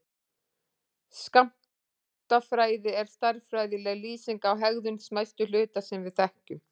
Skammtafræði er stærðfræðileg lýsing á hegðun smæstu hluta sem við þekkjum.